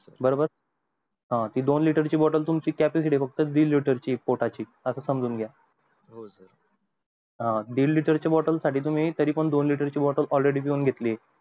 बरोबर ती दोन लिटर ची bottle तुमची capacity तुमची फक्त दीड लिटर ची आहे फक्त पोटाची असं समजून घ्या अं दीड लिटर ची bottle साठी तरी पण तुम्ही दोन लिटर ची bottle already पिऊन घेतली ये